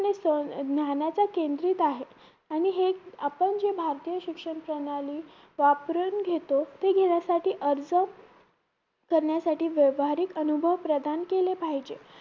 ज्ञानाच्या केंद्रित आहे आणि हे आपण जे भारतीय शिक्षण प्रणाली वापरून घेतो ते घेण्यासाठी अर्ज करण्यासाठी व्यवहारिक अनुभव प्रदान केले पाहिजे